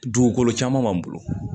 Dugukolo caman b'an bolo